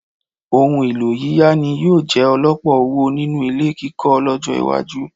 Ohun-ìlò yíyá ni yóò jẹ ọlpọ̀ owó nínú ilé kíkọ́ lọ́jọ́-iwájú.